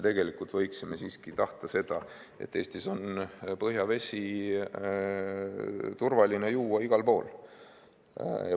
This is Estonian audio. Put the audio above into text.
Me võiksime tahta seda, et Eestis on põhjavesi turvaline juua igal pool.